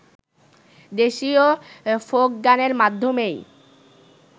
দেশীয় ফোক গানের মাধ্যমেই